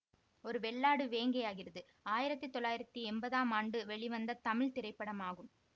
ஒரு வெள்ளாடு வேங்கையாகிறது ஆயிரத்தி தொள்ளாயிரத்தி எம்பதாம் ஆண்டு வெளிவந்த தமிழ் திரைப்படமாகும்